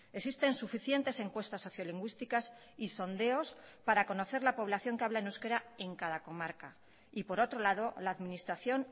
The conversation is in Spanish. existen suficientes encuestas sociolingüísticas y sondeos para conocer la población que habla en euskera en cada comarca y por otro lado la administración